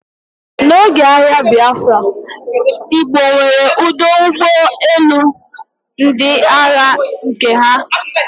n'oge agha Biafra, Igbo nwere ọdụ ụgbọ elu ndị agha nke ha